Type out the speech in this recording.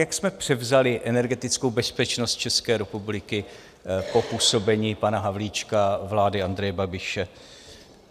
Jak jsme převzali energetickou bezpečnost České republiky po působení pana Havlíčka, vlády Andreje Babiše?